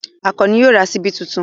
Àkànní yóò ra ṣíbí tuntun.